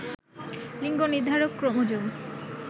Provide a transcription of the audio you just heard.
লিঙ্গ নির্ধারক ক্রোমোজোম